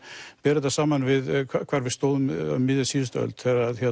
bera þetta saman við þar hvar við stóðum um miðja síðustu öld